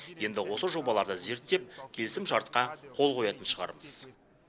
енді осы жобаларды зерттеп келісімшартқа қол қоятын шығармыз